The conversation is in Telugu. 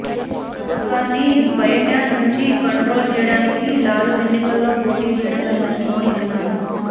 ప్రభుత్వాన్ని బయటి నుంచి కంట్రోల్ చేయడానికే లాలూ ఎన్నికల్లో పోటీ చేయడం లేదని మోడీ అన్నారు